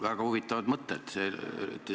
Väga huvitavad mõtted.